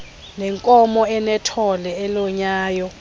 nenkomo enethole elonyayo